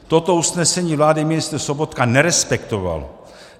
Toto usnesení vlády ministr Sobotka nerespektoval.